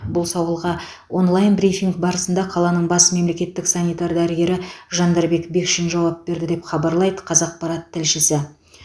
бұл сауалға онлайн брифинг барысында қаланың бас мемлекеттік санитар дәрігері жандарбек бекшин жауап берді деп хабарлайды қазақпарат тілшісі